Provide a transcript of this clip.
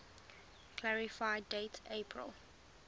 clarify date april